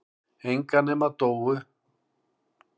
Enga nema Dóu.